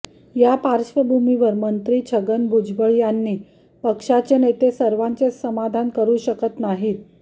या पार्श्वभूमिवर मंत्री छगन भुजबळ यांनी पक्षाचे नेते सर्वांचे समाधान करू शकत नाहीत